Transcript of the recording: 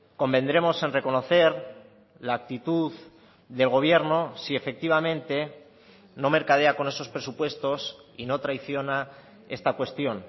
convendremos en reconocer la actitud del gobierno si efectivamente no mercadea con esos presupuestos y no traiciona esta cuestión